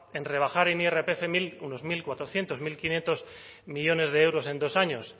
en rebajar en irpf unos mil cuatrocientos mil quinientos millónes de euros en dos años